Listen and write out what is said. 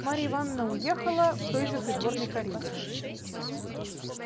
марья ивановна уехала в той же придворной карете